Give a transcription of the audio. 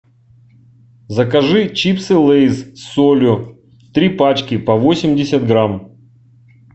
закажи чипсы лейс с солью три пачки по восемьдесят грамм